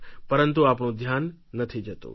પરંતુ આપણું ધ્યાન નથી જતું